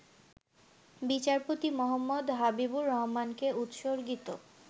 বিচারপতি মুহাম্মদ হাবিবুর রহমানকে উৎসর্গিত